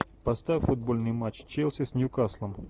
поставь футбольный матч челси с ньюкаслом